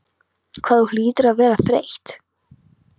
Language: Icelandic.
Hvað þú hlýtur að vera þreytt.